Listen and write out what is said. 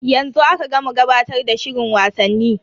Yanzu aka gama gabatar da shirin wasanni.